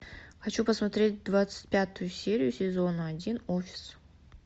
хочу посмотреть двадцать пятую серию сезона один офис